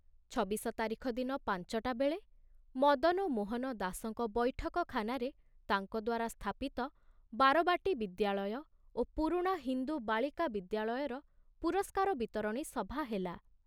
ଛବିଶ ତାରିଖ ଦିନ ପାଞ୍ଚଟା ବେଳେ ମଦନ ମୋହନ ଦାସଙ୍କ ବୈଠକଖାନାରେ ତାଙ୍କ ଦ୍ବାରା ସ୍ଥାପିତ ବାରବାଟୀ ବିଦ୍ୟାଳୟ ଓ ପୁରୁଣା ହିନ୍ଦୁ ବାଳିକା ବିଦ୍ୟାଳୟର ପୁରସ୍କାର ବିତରଣୀ ସଭା ହେଲା।